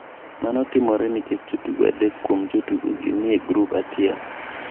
Mano timore nikech jotugo adek kuom jotugogi ni e grup achiel.